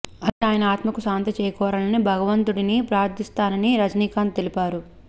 అలాగే ఆయన ఆత్మకు శాంతి చేకూరాలని భగవంతుడిని ప్రార్ధిస్తున్నానని రజనీకాంత్ తెలిపారు